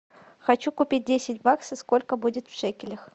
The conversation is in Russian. хочу купить десять баксов сколько будет в шекелях